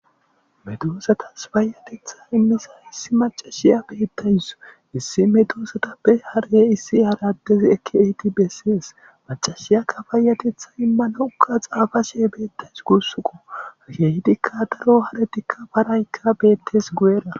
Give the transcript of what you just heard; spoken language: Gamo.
Meddosatas payateththa immiza issi maccashiya betawusu issi meddosatappe haarey issi haradezi ekki ehidi besses maccashiyaka payateththa immanawuka xafashe betawusu gussuko kehidikka daaro haareti paarayka bettes guyera.